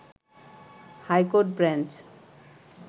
high court bench